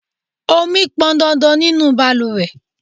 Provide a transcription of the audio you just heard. Ọmi pọn dandan nínú bàlùwẹ̀.